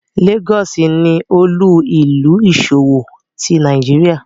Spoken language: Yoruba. Lagos ni olu-ilu iṣowo ti Nigeria